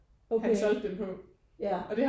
Okay ja